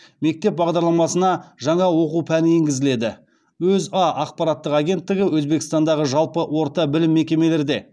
мектеп бағдарламасына жаңа оқу пәні енгізіледі өза ақпараттық агенттігі өзбекстандағы жалпы орта білім мекемелерде